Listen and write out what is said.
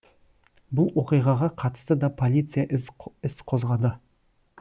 бұл оқиғаға қатысты да полиция іс қозғады